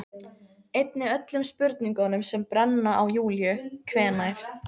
Einnig öllum spurningunum sem brenna á Júlíu: Hvenær